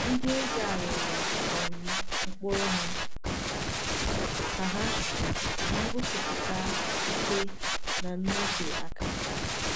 Ndị eze à rụrụ um nkpuru hà ka hà ka hà gosipụta ike na nnọte aka.